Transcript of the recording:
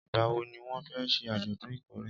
ìgbà wo ni wón fé se àjòdún ìkórè?